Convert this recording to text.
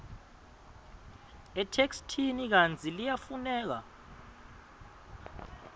etheksthini kantsi liyafuneka